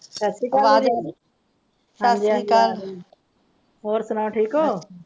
ਸਾਸਰੀਕਾਲ ਆਵਾਜ ਸਾਸਰੀਕਾਲ ਹੋਰ ਸੁਣਾਓ ਠੀਕ ਹੋ?